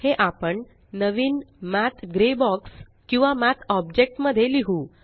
हे आपण नवीन मठ ग्रे बॉक्स किंवा मठ ऑब्जेक्ट मध्ये लिहु